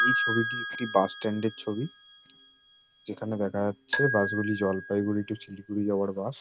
এই ছবিটি একটি বাস স্ট্যান্ড এর ছবি। যেখানে দেখা যাচ্ছে বাস গুলি জলপাইগুড়ি টু শিলিগুড়ি যাওয়ার বাস ।